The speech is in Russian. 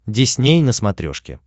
дисней на смотрешке